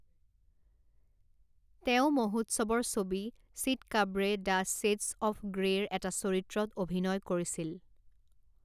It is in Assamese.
তেওঁ মহোৎসৱৰ ছবি চিটকাব্ৰে দ্য শ্বেডছ্ অফ গ্ৰে'ৰ এটা চৰিত্ৰত অভিনয় কৰিছিল।